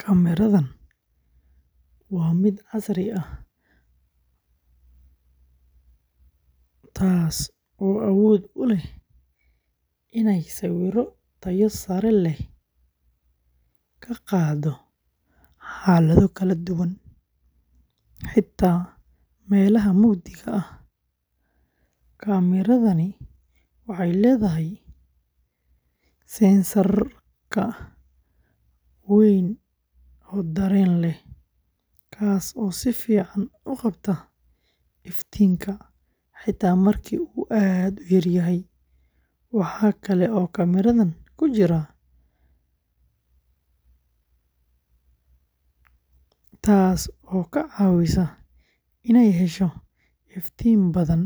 Kaamiradan waa mid casri ah oo ah nooca ama mirrorless, taas oo awood u leh inay sawirro tayo sare leh ka qaado xaalado kala duwan, xitaa meelaha mugdiga ah. Kaamiradani waxay leedahay sensor weyn oo dareen leh, kaas oo si fiican u qabta iftiinka xitaa marka uu aad u yar yahay. Waxaa kale oo kaamiradan ku jira ballaaran, taas oo ka caawisa inay hesho iftiin badan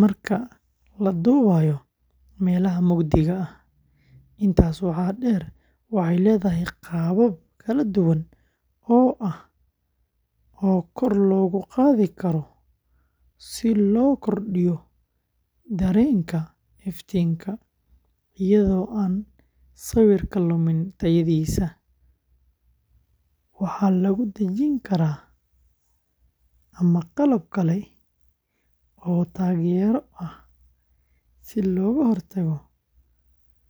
marka la duubayo meelaha mugdiga ah. Intaas waxaa dheer, waxay leedahay qaabab kala duwan oo ah oo kor loogu qaadi karo si loo kordhiyo dareenka iftiinka, iyadoo aan sawirka lumin tayadiisa. Waxaa lagu dhejin karaa tripod ama qalab kale oo taageero ah si looga hortago.